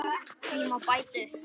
Því má bæta upp